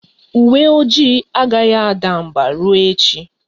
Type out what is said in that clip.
Uwe ojii agaghị ada mbà ruo echi.